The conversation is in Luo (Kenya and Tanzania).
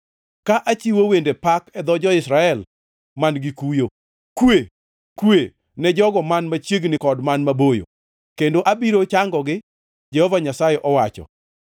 ka achiwo wende pak e dho jo-Israel man-gi kuyo. Kwe, kwe, ne jogo man machiegni kod man maboyo. Kendo abiro changogi,” Jehova Nyasaye owacho.